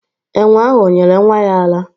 Enwe ahụ o nyere nwa ya ara?